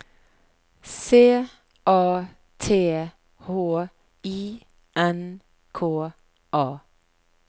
C A T H I N K A